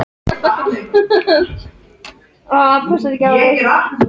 Tæpum sólarhring eftir að þú fæddist, Sóla litla.